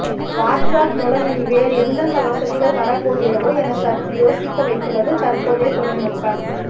watts app மூலம் இனி வேறு எந்தெந்த வசதிகள் வரப்போகிறதோ என சற்று யோசிக்க வைத்துள்ளது தற்போதைய தொழில்நுட்பம்